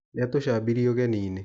Nĩatũcabirie ũgeninĩ.